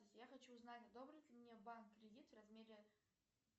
я хочу узнать одобрит ли мне банк кредит в размере